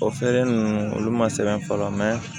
O feere nunnu olu ma sɛbɛn fɔlɔ